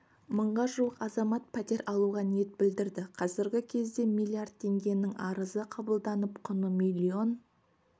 мыңға жуық азамат пәтер алуға ниет білдірді қазіргі кезде миллиард теңгенің арызы қабылданып құны миллион